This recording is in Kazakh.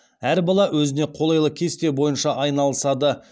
әр бала өзіне қолайлы кесте бойынша айналысады